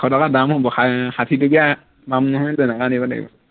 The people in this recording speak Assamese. এশ টকা দাম হব ষাষাঠি টকীয়া পাম নহয় তেনেকুৱা আনিব লাগিব